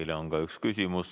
Teile on ka üks küsimus.